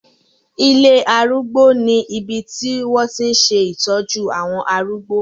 Ilé arúgbó ní ibi tí wọ́n tí ń ṣe ìtọ́jú àwọn arúgbó.